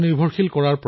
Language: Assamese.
ইয়াৰ নাম হল কু